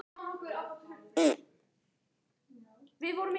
Jón Ólafur var orðinn ákafur.